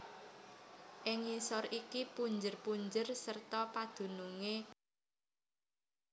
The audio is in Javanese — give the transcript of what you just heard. Ing ngisor iki punjer punjer serta padunungé kapacak